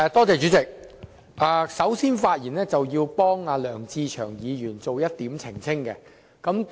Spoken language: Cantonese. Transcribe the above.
主席，首先，我要為梁志祥議員作出澄清。